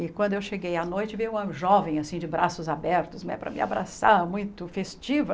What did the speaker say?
E quando eu cheguei à noite, veio uma jovem, assim, de braços abertos né, para me abraçar, muito festiva.